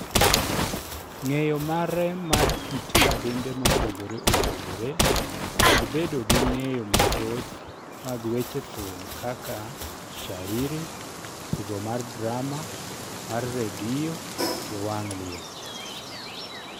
ng'eyo mare mar kit kabinde mopogore opogore kod bedo gi ng'eyo mathoth mag weche thum kaka shairi, tugo mar drama mar redio gi wang' liech